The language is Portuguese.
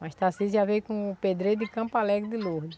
Mas Tacísio já veio com o pedreiro de Campo Alegre de Lourdes.